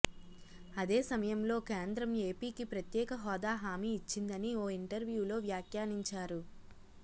అదే సమయంలో కేంద్రం ఏపీకి ప్రత్యేక హోదా హామీ ఇచ్చిందని ఓ ఇంటర్వ్యూలో వ్యాఖ్యానించారు